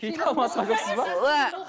киіт алмасқан жоқсыз ба